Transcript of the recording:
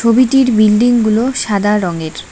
ছবিটির বিল্ডিং গুলো সাদা রঙের।